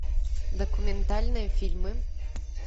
документальные фильмы